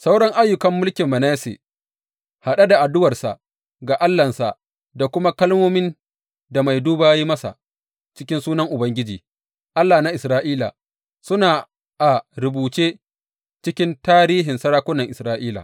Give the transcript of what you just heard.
Sauran ayyukan mulkin Manasse, haɗe da addu’arsa ga Allahnsa da kuma kalmomin da mai duba ya yi masa cikin sunan Ubangiji, Allah na Isra’ila, suna a rubuce cikin tarihin sarakunan Isra’ila.